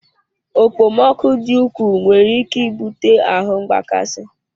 Okpomọkụ dị ukwuu nwere ike ibute ahu mgbakasị